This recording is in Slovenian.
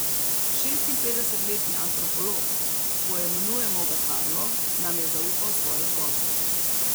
Šestinpetdesetletni antropolog, poimenujemo ga Karlo, nam je zaupal svojo zgodbo.